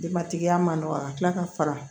Dematigiya man nɔgɔ a ka tila ka fara